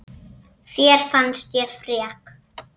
Þér fannst ég frek.